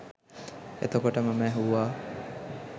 එතකොට මම ඇහුවා